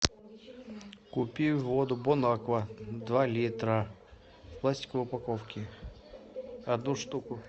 купи воду бонаква два литра в пластиковой упаковке одну штуку